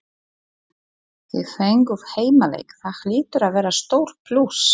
Þið fenguð heimaleik, það hlýtur að vera stór plús?